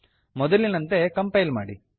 ಮೊದಲಿನಂತೆ ಕಂಪೈಲ್ ಮಾಡಿ